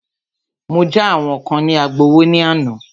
Mọ já àwọn kán ní Agbowó ní àná.